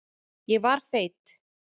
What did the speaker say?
Ég var feit.